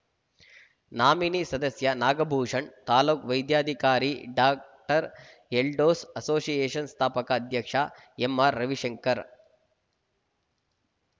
nominee ಸದಸ್ಯ ನಾಗಭೂಷಣ್‌ ತಾಲೂಕು ವೈದ್ಯಾಧಿಕಾರಿ ಡಾಎಲ್ದೋಸ್‌ ಅಸೋಸಿಯೇಷನ್‌ ಸ್ಥಾಪಕ ಅಧ್ಯಕ್ಷ ಎಂಆರ್‌ರವಿಶಂಕರ್‌